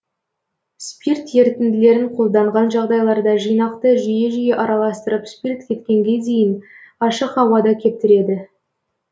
спирт ерітінділерін қолданған жағдайларда жинақты жиі жиі араластырып спирт кеткенге дейін ашық ауада кептіреді